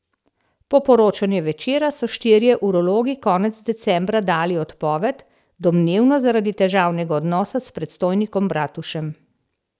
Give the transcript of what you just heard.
Po poročanju Večera so štirje urologi konec decembra dali odpoved, domnevno zaradi težavnega odnosa s predstojnikom Bratušem.